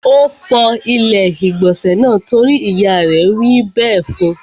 Ó fọ ilé-ìgbọ̀nsẹ̀ náà torí ìyá rẹ̀ wí bẹ́ẹ̀ fún.